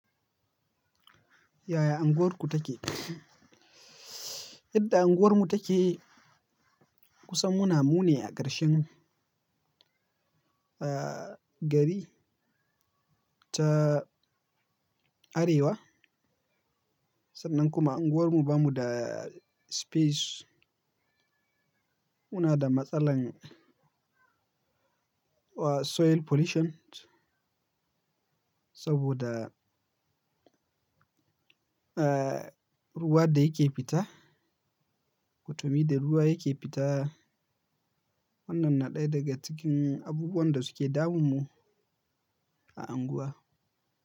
Yaya unguwarku take? Yadda unguwarmu take kusan muna, mu ne a ƙarshen gari ta Arewa. Sannan kuma unguwarmu bamu da space. Muna da matsalar soil pollution. Saboda, ruwa da yake fita. Kwtami da ruwa yake fita. Wannan na ɗaya daga cikin abubuwan da suke damun mu a unguwa.